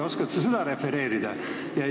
Oskad sa seda refereerida?